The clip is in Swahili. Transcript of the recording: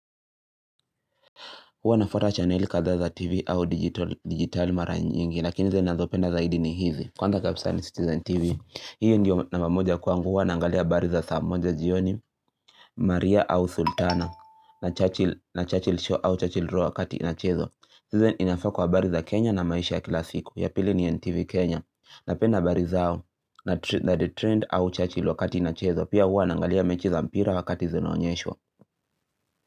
Huwa nafuata chaneli kadhaa za TV au digitali mara nyingi. Lakini zile nazopenda zaidi ni hizi. Kwanza kabisa ni Citizen TV. Hiyo ndio namba moja kwangu huwa naangalia habari za saa moja jioni. Maria au Sultana. Na Churchill Show au Churchill Row wakati inachezwa. Citizen inafaa kwa habari za Kenya na maisha ya kila siku. Ya pili ni NTV Kenya. Napenda habari zao au na The trained au Churchill wakati inachezwa. Pia huwa naangalia mechi za mpira wakati zinaonyeshwa.